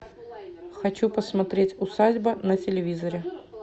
хочу посмотреть усадьба на телевизоре